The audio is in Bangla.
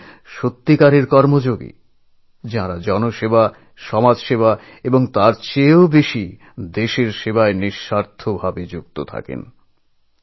আসলে তাঁরাই প্রকৃত কর্মযোগী যাঁরা মানুষের সেবা সমাজের সেবা এবং সর্বোপরি দেশের সেবায় একেবারে নিঃস্বার্থভাবে কাজ করে চলেছেন